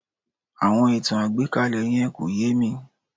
Àwọn ìtàn àgbékalẹ̀ yẹn kò yé mi